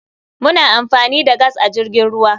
Muna amfani da gas a jirgin ruwa.